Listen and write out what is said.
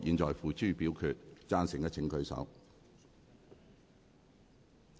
贊成的請舉手。